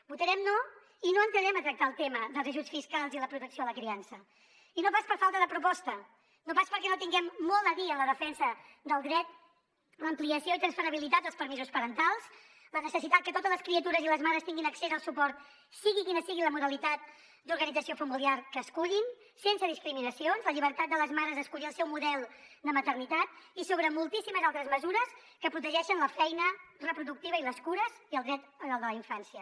votarem no i no entrarem a tractar el tema dels ajuts fiscals i la protecció a la criança i no pas per falta de proposta no pas perquè no tinguem molt a dir en la defensa del dret a l’ampliació i intransferibilitat dels permisos parentals en la necessitat que totes les criatures i les mares tinguin accés al suport sigui quina sigui la modalitat d’organització familiar que escullin sense discriminacions en la llibertat de les mares a escollir el seu model de maternitat i sobre moltíssimes altres mesures que protegeixen la feina reproductiva i les cures i el dret a la infància